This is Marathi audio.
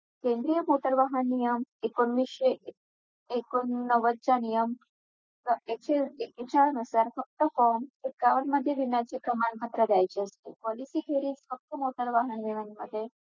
Junk food म्हणजे खूप प्रकारचे असतात Pizza pasta Maggi परत gas असतात bag असतात बाहेर जे काही.